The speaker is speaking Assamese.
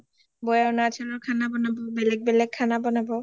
বৌয়ে অৰুণাচল ৰ খানা বনাব বেলেগ বেলেগ খানা বনাব